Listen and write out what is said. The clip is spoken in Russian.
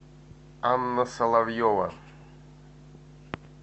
анна соловьева